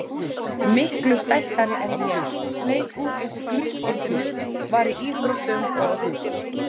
Miklu stæltari en ég, leit út eins og grískur guð, var í íþróttum og.